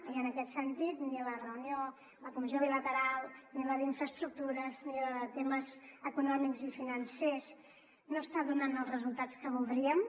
i en aquest sentit ni la reunió de la comissió bilateral ni la d’infraestructures ni la de temes econòmics i financers no estan donant els resultats que voldríem